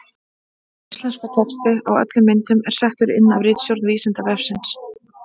Íslenskur texti á öllum myndum er settur inn af ritstjórn Vísindavefsins.